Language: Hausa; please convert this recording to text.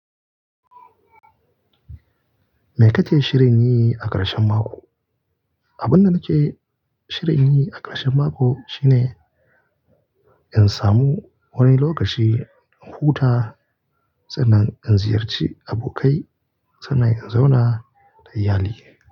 Me kake shirin yi a ƙarshen mako? Abin da nake shirin yi a ƙarshen mako shine in samu wani lokaci in huta sannan in ziyarci abokai sannan in zauna da iyalina.